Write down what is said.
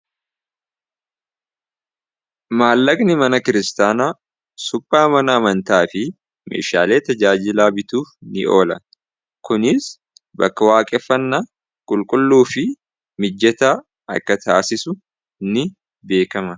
Maallagni mana kiristaanaa suphaa mana amantaa fi meeshaalee tajaajilaa bituuf ni oola. kuniis bakka waaqeefannaa qulqulluu fi mijjata akka taasisu ni beekama.